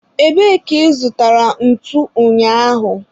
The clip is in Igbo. ebee ka ị zụtara ntu ụnyaahụ?